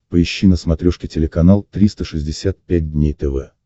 поищи на смотрешке телеканал триста шестьдесят пять дней тв